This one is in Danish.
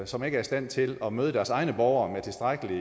som ikke er i stand til at møde deres egne borgere med tilstrækkelig